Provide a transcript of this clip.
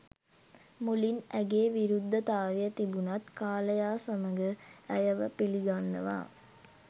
මුලින් ඇගේ විරුද්ධතාවය තිබුනත් කාලයා සමඟ ඇය ව පිළිගන්නවා.